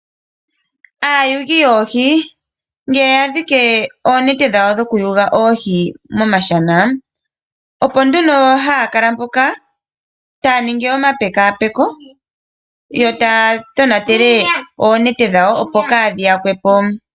Aayuli yoohi ngele ya dhike oonete dhawo dhokuyula oohi miishana, opo nduno haya kala mpoka taya ningi omapekapeko yo taya tonatele oonete dhawo, opo kaadhi yakwe po.